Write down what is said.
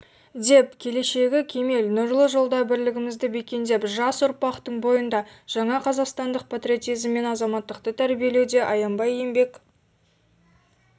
деп келешегі кемел нұрлы жолда бірлігімізді бекемдеп жас ұрпақтың бойында жаңа қазақстандық патриотизм мен азаматтықты тәрбиелеуде аянбай еңбек